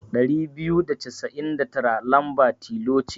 Ɗari biyu da casain da tara lamba tilo ce.